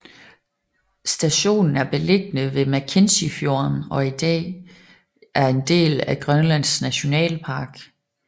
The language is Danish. Stationen er beliggende ved Mackenzie fjorden og er i dag er en del af Grønlands Nationalpark